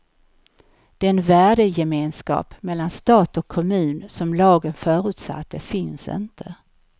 Den värdegemenskap mellan stat och kommun som lagen förutsatte finns inte.